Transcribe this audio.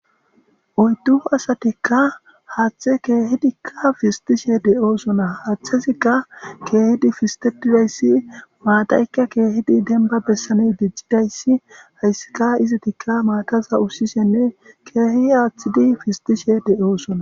oyddu asatikka haaththe keehidikka pistishe de7oosona haaththesikka keehidi fistididayssi maataykka keehidi denba bessane diccidayssi hayssika izitikka maataza ussishenne keehi aaththidi fistishe de7oosona